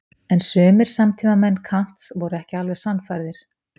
En sumir samtímamenn Kants voru ekki alveg sannfærðir.